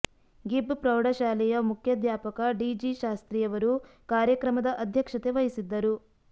ಗಿಬ್ ಫ್ರೌಢ ಶಾಲೆಯ ಮುಖ್ಯಾಧ್ಯಾಪಕ ಡಿ ಜಿ ಸಾಸ್ತ್ರಿ ಅವರು ಕಾರ್ಯಕ್ರಮದ ಅಧ್ಯಕ್ಷತೆ ವಹಿಸಿದ್ದರು